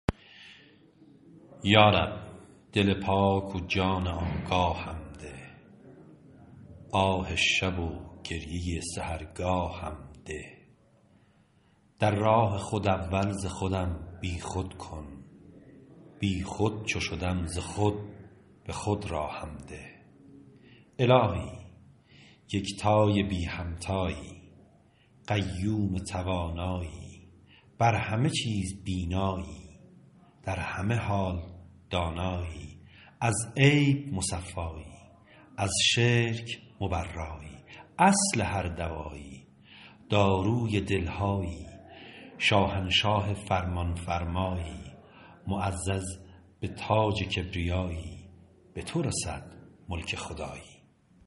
یا رب دل پاک و جان آگاهم ده آه شب و گریه سحرگاهم ده در راه خود اول ز خودم بی خود کن بی خود چو شدم ز خود به خود راهم ده الهی یکتای بی همتایی قیوم توانایی بر همه چیز بینایی در همه حال دانایی از عیب مصفایی از شرک مبرایی اصل هر دوایی داروی دل هایی شاهنشاه فرمان فرمایی معزز به تاج کبریایی به تو رسد ملک خدایی